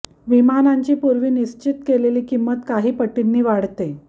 विमानांची पूर्वी निश्चित केलेली किंमत काही पटींनी वाढते